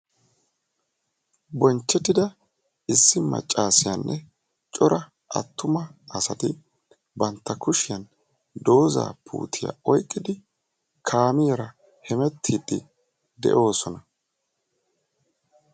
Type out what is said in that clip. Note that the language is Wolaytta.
bonchettida issi macaasiyanne cora attuma asati bantta kushiyan doozaa puutiya oyqqidi kaamiyara hemettiiddi de'oosona.